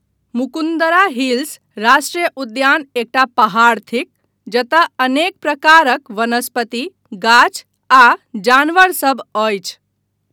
Mukundra Hills राष्ट्रिय उद्यान एकटा पहाड़ थिक जतय अनेक प्रकारक वनस्पति, गाछ आ जानवरसभ अछि।